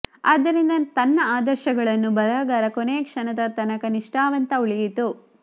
ಆದ್ದರಿಂದ ತನ್ನ ಆದರ್ಶಗಳನ್ನು ಬರಹಗಾರ ಕೊನೆಯ ಕ್ಷಣದ ತನಕ ನಿಷ್ಠಾವಂತ ಉಳಿಯಿತು